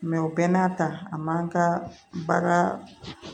o bɛɛ n'a ta a man ka baga